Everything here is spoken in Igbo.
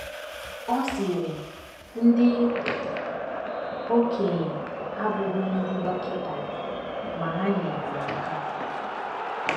Ọ sịrị: “ Ndị okenye abụghị ndị dọkịta, ma ha nyeere m aka.